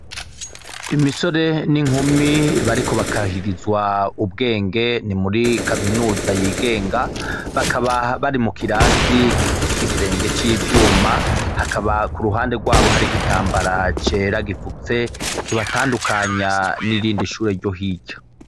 Imisore n'inkumi bariko bakarihirizwa ubwenge ni muri kaminuza yigenga bakaba bari mu kirasi gifise igisenge civyuma hakaba kuruhande rwabo hari igitambara cera gifutse kibatandukanya nirindi shure ryo hirya.